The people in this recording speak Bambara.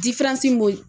b'o